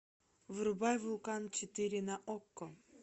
врубай вулкан четыре на окко